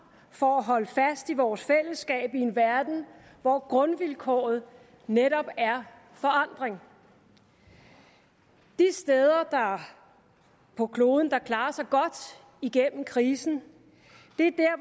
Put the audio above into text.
for at holde fast i vores fællesskab i en verden hvor grundvilkåret netop er forandring de steder på kloden der klarer sig godt gennem krisen